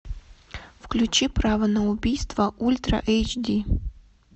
включи право на убийство ультра эйч ди